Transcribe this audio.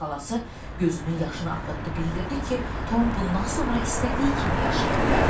Xalası gözünün yaşını axıtdı, bildirdi ki, Tom bundan sonra istədiyi kimi yaşaya bilər.